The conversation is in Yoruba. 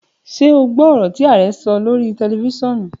Ṣo gbọ ọ̀rọ̀ tí Arẹ sọ lórí tẹlifiṣionu?